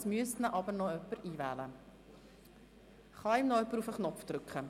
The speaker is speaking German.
Es müsste ihn aber noch jemand in die Rednerliste einwählen.